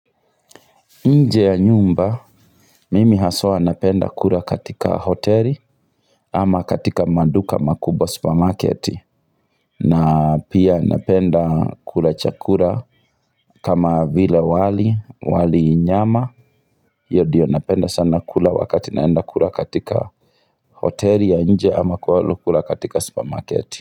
Nje ya nyumba, mimi haswa napenda kura katika hoteli ama katika maduka makubwa supermarketi, na pia napenda kula chakura kama vile wali, wali nyama, hio dio napenda sana kula wakati naenda kura katika hoteli ya nje ama kualo kula katika supermarketi.